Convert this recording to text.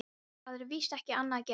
Það er víst ekki annað að gera.